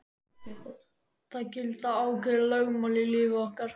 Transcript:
Það gilda ákveðin lögmál í lífi okkar.